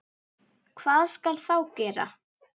Hvað skal þá gera?